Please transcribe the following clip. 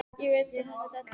Ég veit að þetta er della.